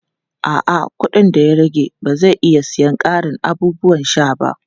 A'a, kuɗin da ya rage ba zai iya siyan ƙarin abubuwan sha ba.